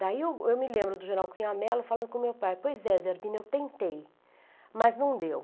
Daí eu me lembro do geral Cunha Mello falando com meu pai, pois é, Zerbina, eu tentei, mas não deu.